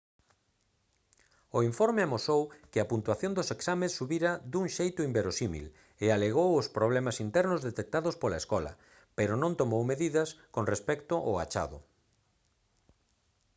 o informe amosou que a puntuación dos exames subira dun xeito inverosímil e alegou os problemas internos detectados pola escola pero non tomou medidas con respecto ao achado